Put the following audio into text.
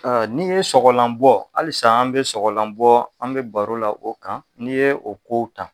N'i ye sɔgɔlan bɔ halisa an bɛ sɔgɔlan bɔ an bɛ baro la o kan, n'i ye o ko ta